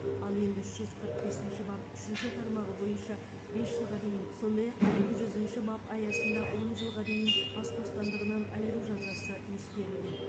ал енді үш жүз қырық бесінші бап үшінші тармағы бойынша бес жылға дейін сондай ақ екі жүзінші бап аясында он жылға дейін бас бостандығынан айыру жазасы ескерілген